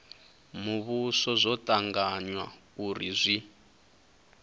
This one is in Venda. muvhuso zwo tanganywa uri zwi